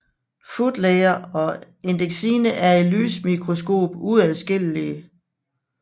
Footlayer og endexine er i lysmikroskop uadskillige